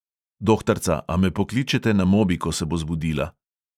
"Dohtarca, a me pokličete na mobi, ko se bo zbudila?"